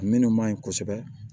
Minnu man ɲi kosɛbɛ